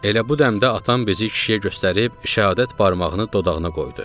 Elə bu dəmdə atam bizi kişiyə göstərib şəhadət barmağını dodağına qoydu.